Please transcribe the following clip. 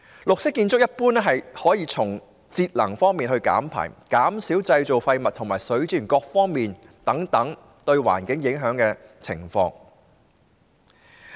綠色建築一般可以從節能減排、減少製造廢物和善用水資源等各方面改善對環境的影響。